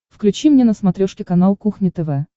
включи мне на смотрешке канал кухня тв